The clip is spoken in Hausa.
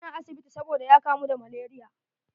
Yana asibiti sabida ya kamu da malaria.